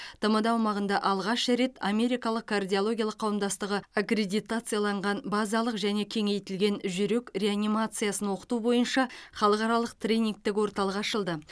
тмд аумағында алғаш рет америкалық кардиологиялық қауымдастығы аккредитациялаған базалық және кеңейтілген жүрек реанимациясын оқыту бойынша халықаралық тренингтік орталық ашылды